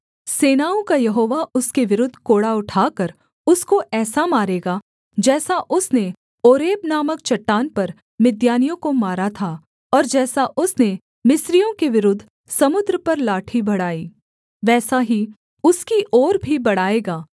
सेनाओं का यहोवा उसके विरुद्ध कोड़ा उठाकर उसको ऐसा मारेगा जैसा उसने ओरेब नामक चट्टान पर मिद्यानियों को मारा था और जैसा उसने मिस्रियों के विरुद्ध समुद्र पर लाठी बढ़ाई वैसा ही उसकी ओर भी बढ़ाएगा